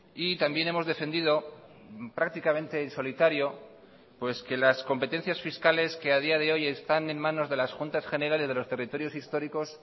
y también hemos defendido prácticamente en solitario pues que las competencias fiscales que a día de hoy están en manos de las juntas generales de los territorios históricos